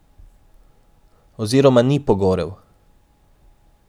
Oziroma ni pogorel.